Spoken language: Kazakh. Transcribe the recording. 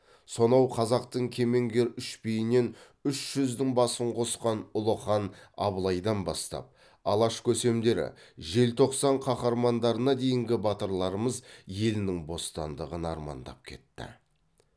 сонау қазақтың кемеңгер үш биінен үш жүздің басын қосқан ұлы хан абылайдан бастап алаш көсемдері желтоқсан қаһармандарына дейінгі батырларымыз елінің бостандығын армандап кетті